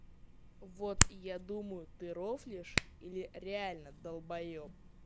вот я думаю ты рофлишь или реально долбоёб